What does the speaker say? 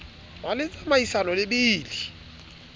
be le tsamaisano le bili